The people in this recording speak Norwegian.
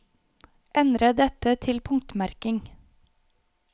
Endre dette til punktmerking